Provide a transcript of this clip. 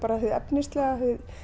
hið óefnislega